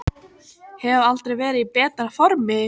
Hef aldrei verið í betra formi